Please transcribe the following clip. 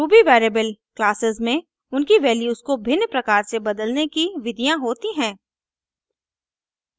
ruby variable classes में उनकी values को भिन्न प्रकार से बदलने की विधियाँ होती हैं